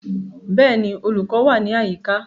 Bẹ́ẹ̀ni, olùkọ́ wà ní àyíká